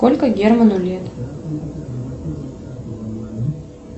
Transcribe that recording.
сколько герману лет